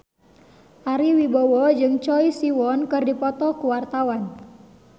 Ari Wibowo jeung Choi Siwon keur dipoto ku wartawan